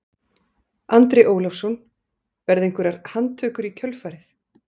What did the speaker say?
Andri Ólafsson: Verða einhverjar handtökur í kjölfarið?